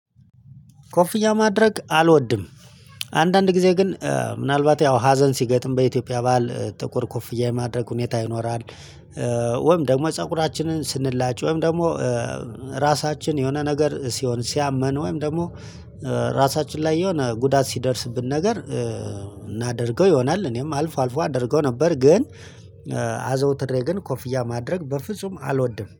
ኮፍያ ማድረግ አልወድም። አንዳንድ ጊዜ ግን ምናልባት ያው ሀዘን ሲገጥም በኢትዮጵያ ባሀል ጥቁር ኮፍያ የማድረግ ሁኔታ ይኖራል። ወይም ደግሞ ፀጉራችንን ስንላጭ ወይም ደግሞ ራሳችን የሆነ ነገር ሲሆን ሲያመን ወይም ደግሞ ራሳችን ላይ የሆነ ጉዳት ሲደርስብን ነገር እናደርገው ይሆናል። እኔም አልፎ አልፎ አድርገው ነበር። ግን አዘውትሬ ግን ኮፍያ ማድረግ በፍጹም አልወድም